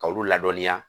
K'olu ladɔnniya